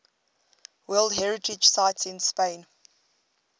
world heritage sites in spain